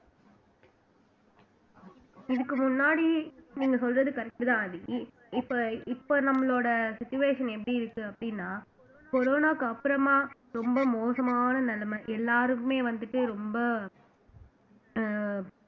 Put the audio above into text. இதுக்கு முன்னாடி நீங்க சொல்றது correct தான் ஆதி இப்ப இப்ப நம்மளோட situation எப்படி இருக்கு அப்படின்னா corona க்கு அப்புறமா ரொம்ப மோசமான நிலைமை எல்லாருக்குமே வந்துட்டு ரொம்ப அஹ்